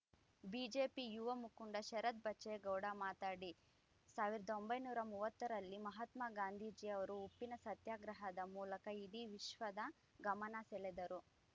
BJP ಯುವ ಮುಖಂಡ ಶರತ್ ಬಚ್ಚೇಗೌಡ ಮಾತಡಿ ಸಾವಿರದ ಒಂಬೈನೂರ ಮೂವತ್ತರಲ್ಲಿ ಮಹಾತ್ಮ ಗಾಂಧೀಜಿಯವರು ಉಪ್ಪಿನ ಸತ್ಯಾಗ್ರಹದ ಮೂಲಕ ಇಡೀ ವಿಶ್ವದ ಗಮನಸೆಳೆದರು